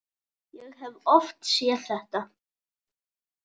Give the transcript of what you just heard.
Ég hef oft séð þetta.